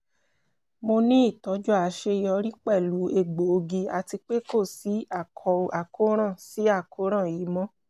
mo ni itọju aṣeyọri pẹlu egboogi ati pe ko si àkóràn si àkóràn yii mọ